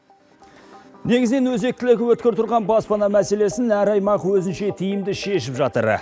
негізінен өзектілігі өткір тұрған баспана мәселесін әр аймақ өзінше тиімді шешіп жатыр